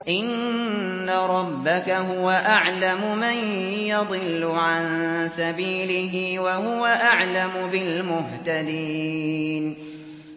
إِنَّ رَبَّكَ هُوَ أَعْلَمُ مَن يَضِلُّ عَن سَبِيلِهِ ۖ وَهُوَ أَعْلَمُ بِالْمُهْتَدِينَ